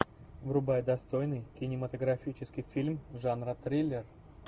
врубай достойный кинематографический фильм жанра триллер